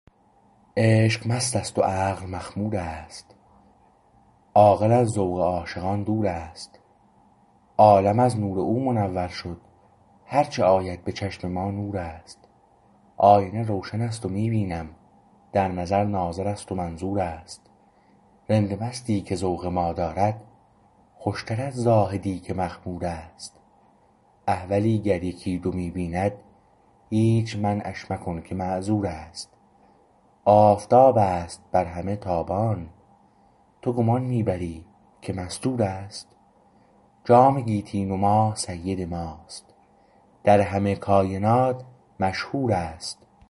عشق مستست و عقل مخمور است عاقل از ذوق عاشقان دور است عالم از نور او منور شد هرچه آید به چشم ما نور است آینه روشن است و می بینم در نظر ناظر است و منظور است رند مستی که ذوق ما دارد خوشتر از زاهدی که مخمور است احولی گر یکی دو می بیند هیچ منعش مکن که معذور است آفتاب است بر همه تابان تو گمان می بری که مستور است جام گیتی نما سید ماست در همه کاینات مشهور است